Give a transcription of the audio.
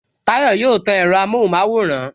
Tayọ yóò tan ẹ̀rọ amohun maworan